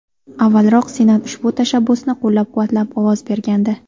Avvalroq Senat ushbu tashabbusni qo‘llab-quvvatlab ovoz bergandi.